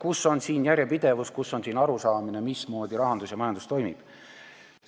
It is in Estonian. Kus on järjepidevus, kus on siin arusaamine, mismoodi rahandus ja majandus toimib?